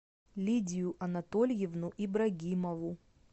лидию анатольевну ибрагимову